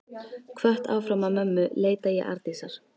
Hvött áfram af mömmu leita ég Arndísar.